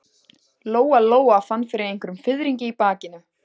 Lóa-Lóa fann fyrir einhverjum fiðringi í bakinu.